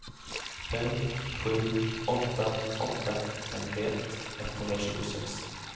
fem sju åtta åtta femtioett etthundratjugosex